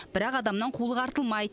бірақ адамнан қулық артылмайды